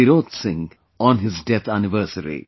Tirot Singh on his death anniversary